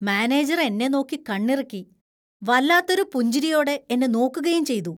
Manager എന്നെ നോക്കി കണ്ണിറുക്കി. വല്ലാത്തൊരു പുഞ്ചിരിയോടെ എന്നെ നോക്കുകയും ചെയ്തു.